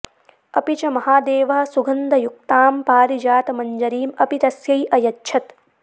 अपि च महादेवः सुगन्धयुक्तां पारिजातमञ्जरीम् अपि तस्यै अयच्छत्